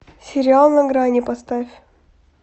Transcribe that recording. сериал на грани поставь